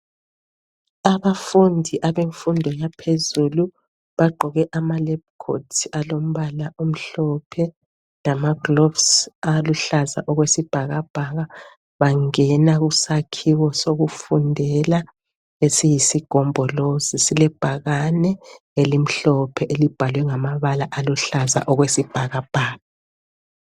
Abafundi abemfundo yaphezulu bagqoke ama lab coat alombala omhlophe lama gloves aluhlaza okwesibhakabhaka. Bangena kusakhiwo sokufundela esiyisigombolozi silebhakane elimhlophe elibhalwe ngamabala aluhlaza okwesibhakabhaka.